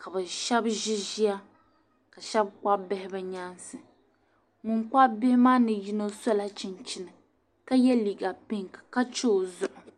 ka bɛ shɛba ʒi ʒiya ka shɛba kpabi bihi bɛ nyaansi. Ban kpabi bihi maa ni yino sɔla chinchini ka ye liiga piŋki ka che o zuɣu.